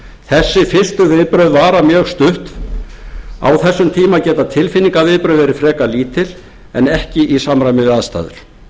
þessi fyrstu viðbrögð vara mjög stutt á þessum tíma geta tilfinningaviðbrögð verið frekar lítil en ekki í samræmi við aðstæður